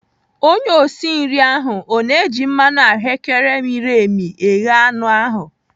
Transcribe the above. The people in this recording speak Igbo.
Onye osi nri ahụ ọ na-eji mmanụ ahụ́kere miri emi eghe anụ ahụ?